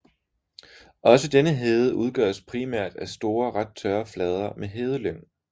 Også denne hede udgøres primært af store ret tørre flader med hedelyng